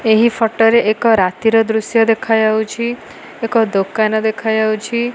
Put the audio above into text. ଏହି ଫଟ ରେ ଏକ ରାତିର ଦୃଶ୍ୟ ଦେଖାଯାଉଛି ଏକ ଦୋକାନ ଦେଖାଯାଉଛି।